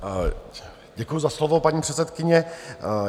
Děkuji za slovo, paní předsedkyně.